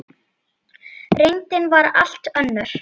Reyndin var allt önnur.